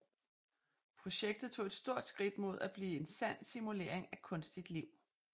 Projektet tog et stort skridt mod at blive en sand simulering af kunstigt liv